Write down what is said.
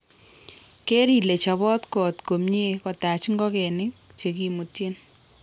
Keer ile chobot koot komie kotaach ngokenik che kimutyin